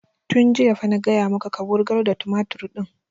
Tun jiya fa na gaya maka ka wurgar da tumatur ɗin!